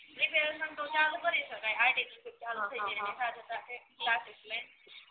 preparation તો ચાલુ કરી સકાય આર્ટિફિસિયલ